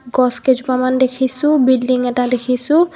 গছ কেইজোপা মান দেখিছোঁ বিল্ডিঙ এটা দেখিছোঁ.